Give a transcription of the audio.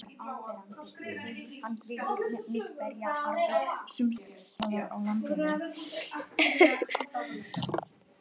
Opið Tölt